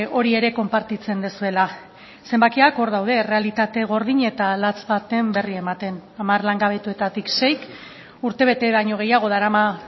hori ere konpartitzen duzuela zenbakiak hor daude errealitate gordin eta latz baten berri ematen hamar langabetuetatik seik urtebete baino gehiago darama